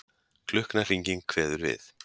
Klukknahringing kveður við.